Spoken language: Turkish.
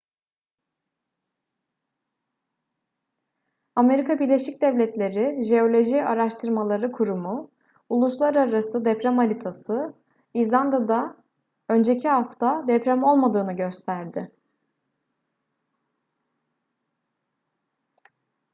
amerika birleşik devletleri jeoloji araştırmaları kurumu uluslararası deprem haritası i̇zlanda'da önceki hafta deprem olmadığını gösterdi